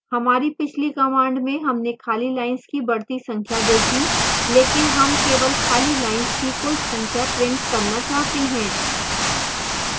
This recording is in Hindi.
हमारी पिछली command में हमने खाली lines की बढ़ती संख्या देखी लेकिन हम केवल खाली lines की कुल संख्या प्रिंट करना चाहते हैं